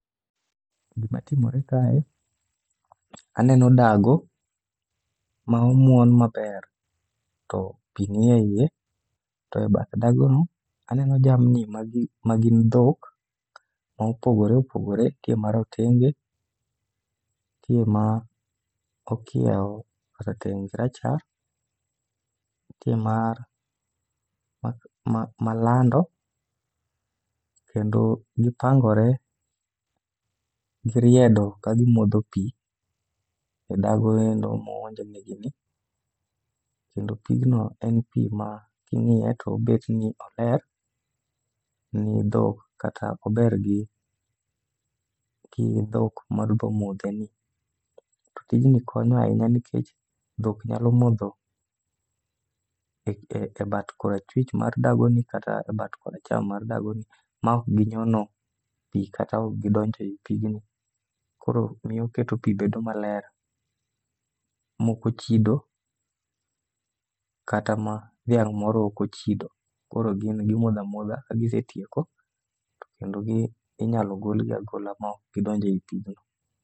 Gima timore kae, aneno dago ma omuon maber to pi ni eiye. To e bath dagono, aneno jamni ma gin dhok ma opogore opogore. Nitie ma rotenge, nitie ma okieo rateng' gi rachar, nitie ma lando, kendo gipangore giriedo ka gimodho pi e dagoendo moonjnegi ni. Kendo pigno en pi ma king'iye to obet ni oler, ni dhok kata ober gi dhok madwa modheni. To tijni konyo ahinya nikech dhok nyalo modho e bat korachwich mar dagoni kata e bat koracham mar dagoni. Ma ok ginyono pi kata ok gidonjo ei pigni. Koro miyo keto pi bedo maler mokochido kata ma dhiang' moro okochido. Koro gin gimodha modha, ka gisetieko to kendo inyalo golgi agola maok gidonjo ei pigno.